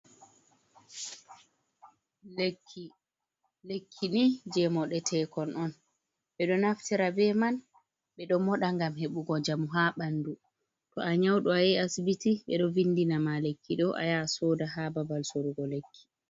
Lekki, lekkini jey moɗeteekon on, ɓe ɗo naftira be man ɓe ɗo mooɗa, ngam heɓugo njamu haa ɓanndu, to a nyawɗo a yahi asibiti, ɓe ɗo vinndina ma, lekki ɗo a yaha a sooda, haa babal soorugo lekki.